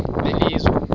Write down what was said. belizwe